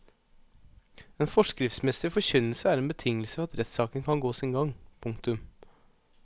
En forskriftsmessig forkynnelse er en betingelse for at rettssaken kan gå sin gang. punktum